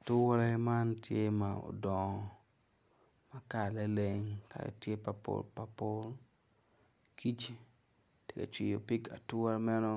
Ature man tye ma odongo ma kalane leng ma tye papulpaul kic tye ka cwiyo pig ature meno